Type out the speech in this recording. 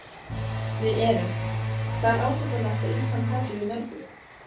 Við erum, hvað er ásættanlegt að Ísland taki við mörgum?